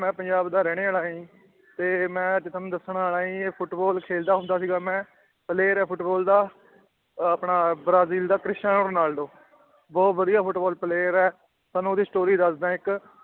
ਮੈਂ ਪੰਜਾਬ ਦਾ ਰਹਿਣੇ ਵਾਲਾ ਹੈ ਜੀ ਤੇ ਮੈਂ ਅੱਜ ਤੁਹਾਨੂੰ ਦੱਸਣ ਵਾਲਾ ਜੀ ਫੁਟਬਾਲ ਖੇਲਦਾ ਹੁੰਦਾ ਸੀਗਾ ਮੈਂ player ਹਾਂ ਫੁਟਬਾਲ ਦਾ ਅਹ ਆਪਣਾ ਬਰਾਜ਼ੀਲ ਦਾ ਕ੍ਰਿਸਟਨ ਰੋਨਾਲਡੋ ਬਹੁਤ ਵਧੀਆ ਫੁਟਬਾਲ player ਹੈ ਤੁਹਾਨੂੰ ਉਹਦੀ story ਦੱਸਦਾ ਹੈ ਇੱਕ